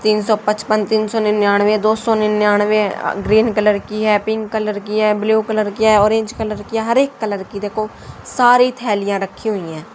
तीन सौ पचपन तीन सौ निन्यानबे दो सौ निन्यानबे ग्रीन कलर की है पिंक कलर की है ब्लू कलर की है ऑरेंज कलर की हर एक कलर की देखो सारी थैलियां रखी हुई है।